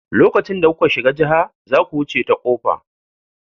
Lokacin da kuka shiga jiha, zaku wuce ta koga.